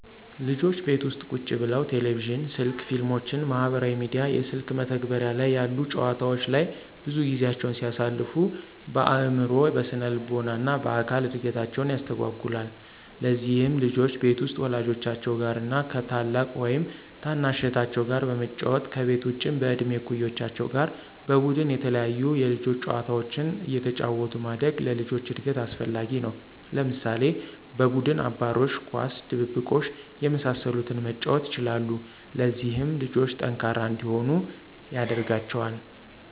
ልጆች ቤት ውስጥ ቁጭ ብለው ቴሌቪዥን፣ ስልክ፣ ፊልሞችን፣ ማህበራዊ ሚዲያ፣ የስልክ መተግበሪያ ላይ ያሉ ጨዋታወች ላይ ብዙ ጊዜያቸውን ሲያሳልፉ በአዕምሮ፣ በስነልቦና እና በአካል እድገታቸውን ያስተጓጉለዋል። ለዚህም ልጆች ቤት ውስጥ ወላጆቻቸው ጋር እና ከ ታላቅ ወይም ታናሽ እህታቸው ጋር በመጫወት፤ ከቤት ውጭም በእድሜ እኩዮቻቸው ጋር በቡድን የተለያዩ የልጆች ጨዋታዎችን አየተጫወቱ ማደግ ለልጆች እድገት አስፈላጊ ነው። ለምሳሌ፦ በቡድን አባሮሽ፣ ኳስ፣ ድብብቆሽ የመሳሰሉትን መጫወት ይችላሉ። ለዚህም ልጆቹ ጠንካራ እንዲሆኑ ያደርጋቸዋል።